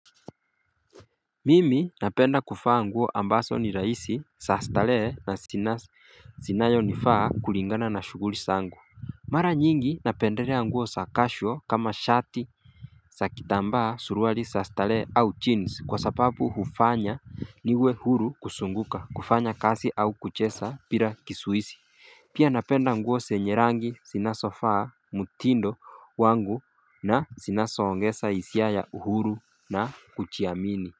Mimi napenda kuvaa nguo ambazo ni rahisi zaa starehe na zinayonifaa kulingana na shughuli zangu Mara nyingi napendelea nguo casual kama shati za kitambaa suruali za starehe au jeans kwa sababu hufanya niwe huru kuzunguka kufanya kazi au kucheza bila kizuizi Pia napenda nguo zenye rangi zinazofaa mtindo wangu na zinazoongeza hisia ya uhuru na kujiamini.